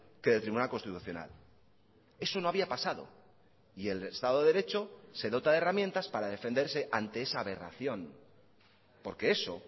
que del tribunal constitucional eso no había pasado y el estado de derecho se dota de herramientas para defenderse ante esa aberración porque eso